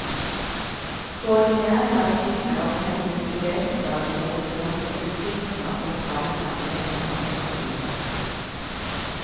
Koordineringen av synet og hendene bevegelser ligger til grunn for utvikling av sentrale ferdigheter for hele livet.